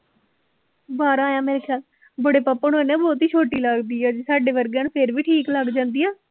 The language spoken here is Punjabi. ਬਾਰਾਂ ਹੈਂ ਮੇਰੇ ਖਿਆਲ, ਬੜੇ ਪਾਪਾ ਨੂੰ ਇਹ ਨਾ ਬਹੁਤੀ ਛੋਟੀ ਲੱਗਦੀ ਹੈ, ਸਾਡੇ ਵਰਗਿਆਂ ਨੂੰ ਫਿਰ ਵੀ ਠੀਕ ਲੱਗ ਜਾਂਦੀ ਹੈ